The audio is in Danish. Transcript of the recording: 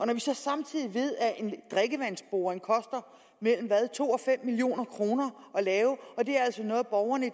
når vi så samtidig ved at en drikkevandsboring koster mellem to og fem million kroner at lave og det er altså noget borgerne